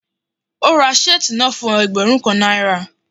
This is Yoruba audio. Ó ra shirt náà fún ẹgbẹ́rún kan náírà.